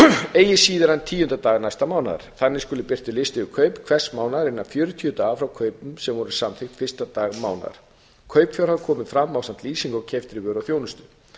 eigi síðar en tíunda dag næsta mánaðar þannig skuli birtur listi yfir kaup hvers mánaðar innan fjörutíu daga frá kaupum sem voru samþykkt fyrsta dag mánaðar kaupfjárhæð komi fram ásamt lýsingu á keyptri vöru og þjónustu